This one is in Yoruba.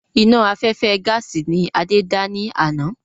Iná afẹ́fẹ́ gaàsì ni Adé dá ní àná.